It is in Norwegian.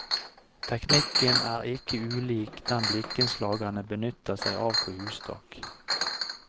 Teknikken er ikke ulik den blikkenslagerne benytter seg av på hustak.